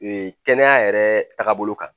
Kɛnɛya yɛrɛ tagabolo kan